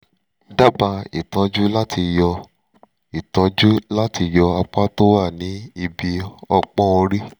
dábàá ìtọ́jú láti yọ ìtọ́jú láti yọ apá tó wà ní ibi ọpọ́n orí